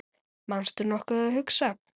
manstu nokkuð að hugsa